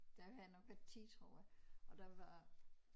Der havde jeg nok været 10 tror jeg og der var